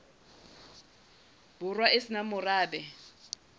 borwa e se nang morabe